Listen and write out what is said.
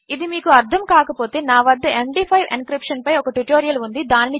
ఇదిమీకుఅర్థంకాకపోతే నావద MD five encryption పైఒకట్యుటోరియల్ఉంది